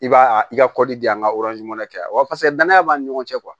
I b'a a i ka kɔɔri di yan ka kɛ waseke danaya b'a ni ɲɔgɔn cɛ